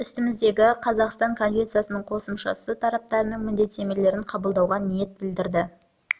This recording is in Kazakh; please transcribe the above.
үстіміздегі жылы қазақстан конвенцияның қосымшасы тарапының міндеттемелерін қабылдауға ниет білдірді